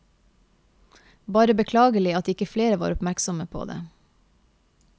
Bare beklagelig at ikke flere var oppmerksomme på det.